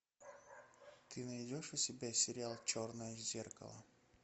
ты найдешь у себя сериал черное зеркало